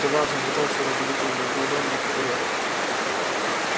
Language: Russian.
казалось он пытается раздавить её между ладонями как орех